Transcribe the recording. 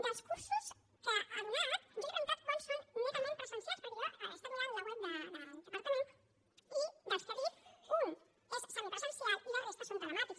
dels cursos que ha donat jo li he preguntat quants són netament presencials perquè jo he estat mirant la web del departament i dels que ha dit un és semipresencial i la resta són telemàtics